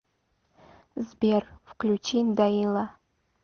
сбер включи даила